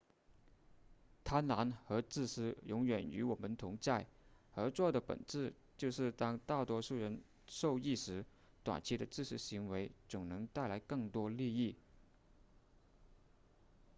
贪婪和自私永远与我们同在合作的本质就是当大多数人受益时短期的自私行为总能带来更多利益